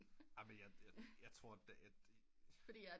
Amen jeg tror